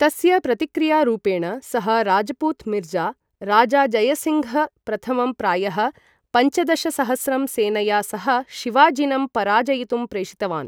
तस्य प्रतिक्रियारूपेण, सः राजपूत मिर्ज़ा राजाजयसिङ्घ् प्रथमं प्रायः पञ्चदशसहस्रं सेनया सह शिवाजिनं पराजयितुं प्रेषितवान्।